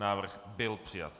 Návrh byl přijat.